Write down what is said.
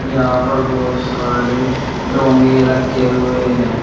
यहां पर बहोत सारे डोंगे रखे हुए हैं।